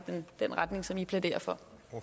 den retning som i plæderer for